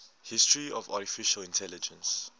history of artificial intelligence